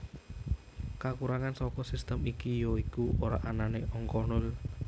Kakurangan saka sistem iki ya iku ora anané angka Nol